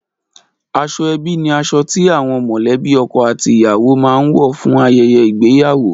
Aṣọ ẹbí ni aṣọ ti àwọn mọ̀lẹ́bí ọkọ àti ìyàwó máa ń wọ fún ayẹyẹ ìgbéyàwó